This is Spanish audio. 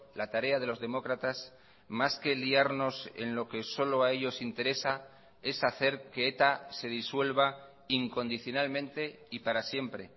la tarea de los demócratas más que liarnos en lo que solo a ellos interesa es hacer que eta se disuelva incondicionalmente y para siempre